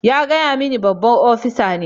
Ya gaya mani babban opisa ne.